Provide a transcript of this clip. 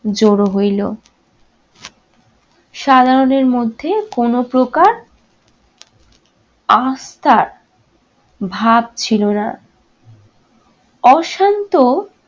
জড়ো হইল। সাধারণের মধ্যে কোন প্রকার আস্থার ভাব ছিল না। অশান্ত